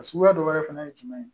A suguya dɔ wɛrɛ fɛnɛ ye jumɛn ye